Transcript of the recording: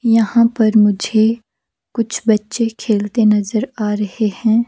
यहां पर मुझे कुछ बच्चे खेलते नजर आ रहे हैं।